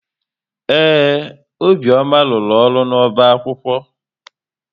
Ee, Obiọma rụrụ ọrụ n'ọbá akwụkwọ.